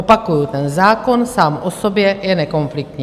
Opakuju, ten zákon sám o sobě je nekonfliktní.